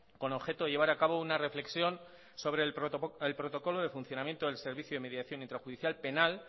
con objeto de llevar a cabo una reflexión sobre el protocolo de funcionamiento del servicio de mediación intrajudicial penal